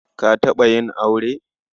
Ka taɓa yin aure?